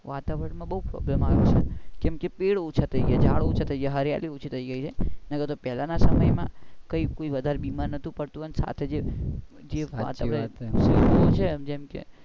વાતવરણ માં બઉ પેલું થાઉં છે કેમ ઝાડ ઓછા થઇ ગયા છે હરીયાળી ઓછી થઇ ગઈ છે એના કરતા પેહલા ના સમય માં કોઈ બીમાર નોતું પડતું અને સાથે જે જેમ કે